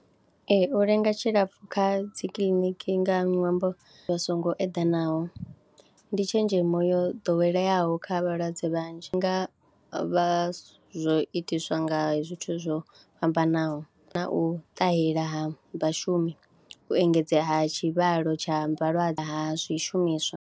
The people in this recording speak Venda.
Ee u lenga tshilapfhu kha dzi kiḽiniki nga ṅwambo wa songo eḓanaho ndi tshenzhemo yo ḓoweleaho kha vhalwadze vhanzhi nga vha zwo itiswa nga zwithu zwo fhambanaho, na u ṱahela ha vhashumi, u engedzea ha tshivhalo tsha vhalwadze ha zwishumiswa.